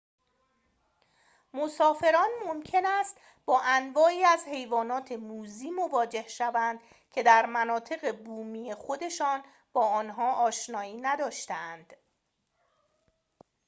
مسافران ممکن است با انواعی از حیوانات موذی مواجه شوند که در مناطق بومی خودشان با آنها آشنایی نداشته‌اند